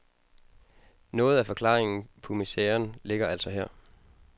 Noget af forklaringen på miseren ligger altså her.